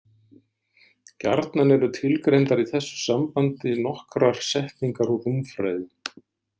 Gjarnan eru tilgreindar í þessu sambandi nokkrar setningar úr rúmfræði.